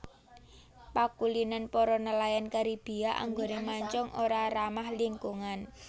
Pakulinan para nelayan Karibia anggoné mancing ora ramah lingkungan